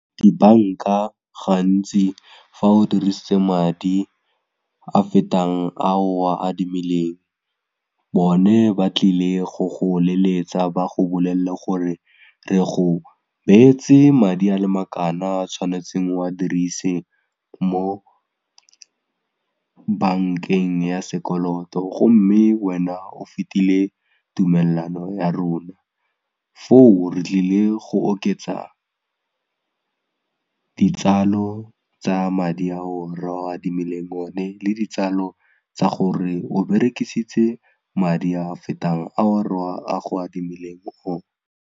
Dibanka gantsi fa o dirisitse madi a fetang a o a adimileng bone ba tlile go go leletsa ba go bolelle gore re go beetse madi a le makana a tshwanetseng o a dirise mo bankeng ya sekoloto gomme wena o fetile tumelelano ya rona foo re tlile go oketsa ditsalo tsa madi ao re go adimileng o ne le ditsalo tsa gore o berekisitse madi a fetang ao re go a adimileng ona.